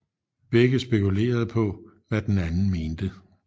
Begge spekulerede på hvad den anden mente